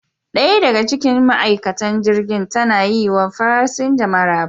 Daya daga cikin ma'aikatan jirgin ta na yi wa fasinja maraba.